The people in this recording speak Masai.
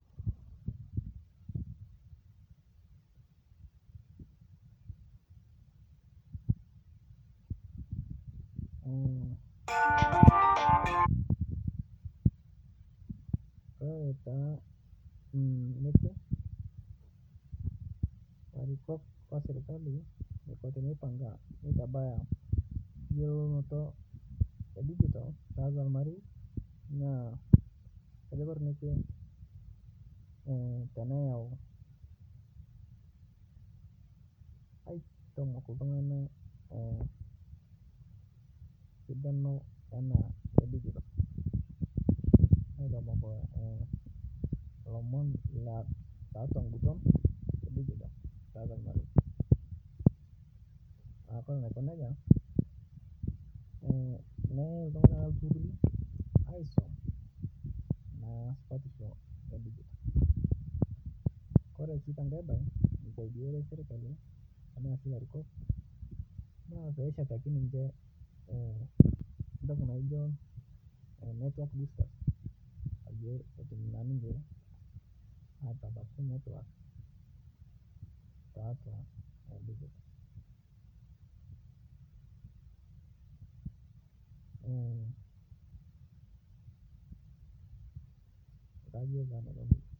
Kore taa nekwe larikok oserikali neko teneipanga neitabaya yelounoto edigital tatua lmarei naa kajo Kore nekwe teneyau aitomok ltunganak sidano enadigital aitomok lomon tatua ng'uton edigital tatua lmarei Kore neko neja neyai ltungana ltururi aisom supatisho edigital, Kore si teng'e bae neisadia serikali tanaasi larikok naa payie eshataki niche ntoki naijo network booster payie atum naa ninche atabaki netwak tatua digital kajo taa naiko neja.